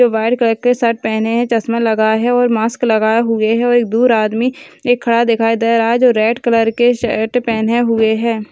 जो white colour के shirt पहने है चसमा लगा है ओर मास्क लगाए हुए है और एक दूर आदमी एक खड़ा दिखाई दे रहा है जो रेड कलर के शर्ट पहने हुए है।